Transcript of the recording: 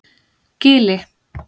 Gili